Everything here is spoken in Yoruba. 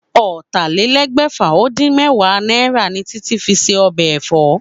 Ó̩tàlélé̩gbè̩fà-ó-dín-mé̩wàá náírà ni Títí fi se o̩bè̩ è̩fó̩